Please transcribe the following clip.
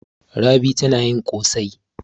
Rabi tana yin ƙosai.